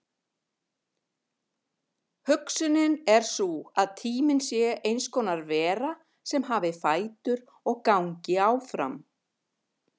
Hugsunin er sú að tíminn sé eins konar vera sem hafi fætur og gangi áfram.